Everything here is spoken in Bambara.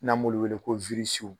N'an b'olu wele ko